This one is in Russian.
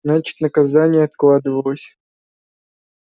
значит наказание откладывалось